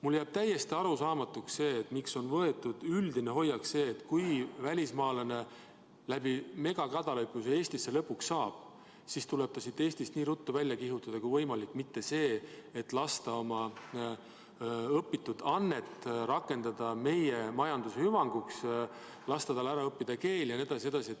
Mulle jääb täiesti arusaamatuks, miks on võetud selline üldine hoiak, et kui välismaalane läbi megakadalipu lõpuks siia Eestisse saabub, siis tuleb ta siit nii ruttu välja kihutada kui võimalik, mitte selline hoiak, et lasta tal õpitut meie majanduse hüvanguks rakendada, lasta tal ära õppida keel jne.